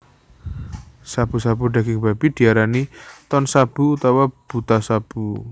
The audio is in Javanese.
Shabu shabu daging babi diarani Tonshabu utawa Butashabu